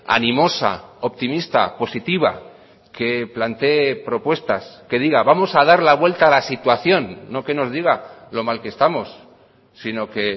animosa optimista positiva que plantee propuestas que diga vamos a dar la vuelta a la situación no que nos diga lo mal que estamos sino que